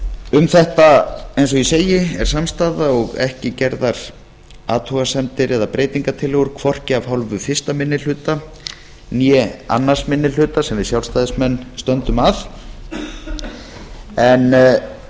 um þetta eins og ég segi er samstaða og ekki gerðar athugasemdir eða breytingartillögur hvorki af hálfu fyrsti minni hluta né annar minni hluta sem við sjálfstæðismenn stöndum að